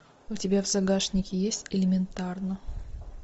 у тебя в загашнике есть элементарно